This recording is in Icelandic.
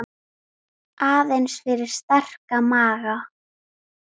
Aðeins fyrir sterka maga.